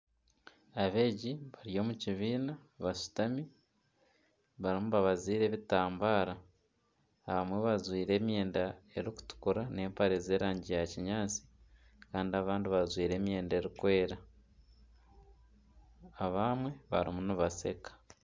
Abeegi bari omu kibiina, bashutami bariyo nibabaziira ebitambara ,abamwe bajwaire emyenda erikutukura ,nana empare z'erangi ya kinyatsi Kandi abandi bajwaire emyenda erikwera ,abamwe bariyo nibasheka.